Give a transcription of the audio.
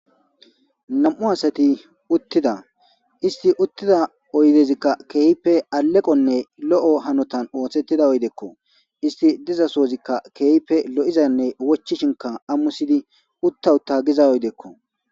Nam7u asati uttida isti uttida oydezikka keeype aleqonne lo7o hanotan ooththettida oydeekko isti dizasoozikka keeype lo7izanne wochishinka ammusidi utta utta giza oydeekko.